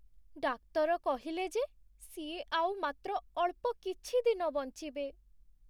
ଡାକ୍ତର କହିଲେ ଯେ ସିଏ ଆଉ ମାତ୍ର ଅଳ୍ପ କିଛି ଦିନ ବଞ୍ଚିବେ ।